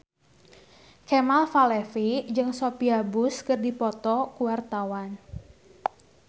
Kemal Palevi jeung Sophia Bush keur dipoto ku wartawan